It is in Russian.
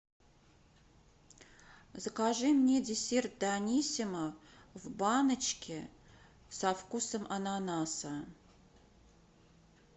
закажи мне десерт даниссимо в баночке со вкусом ананаса